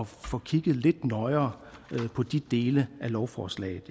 få kigget lidt nøjere på de dele af lovforslaget